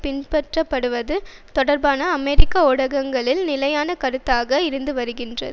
பின்பற்றப்படுவது தொடர்பாக அமெரிக்க ஊடகங்களில் நிலையான கருத்தாக இருந்துவருகின்றது